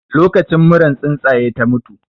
Lokacin muran tsuntsaye ta mutu